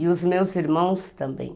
E os meus irmãos também.